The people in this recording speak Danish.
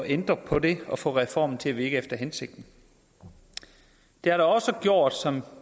ændre på det og få reformen til at virke efter hensigten det har da også gjort som